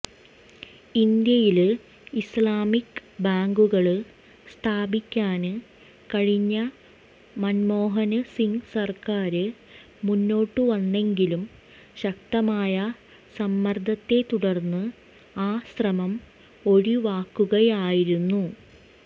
ഇന്ത്യയില് ഇസ്ലാമിക് ബാങ്കുകള് സ്ഥാപിക്കാന് കഴിഞ്ഞ മന്മോഹന് സിങ് സര്ക്കാര് മുന്നോട്ടുവന്നെങ്കിലും ശക്തമായ സമ്മര്ദത്തെ തുടര്ന്ന് ആ ശ്രമം ഒഴിവാക്കുകയായിരുന്നു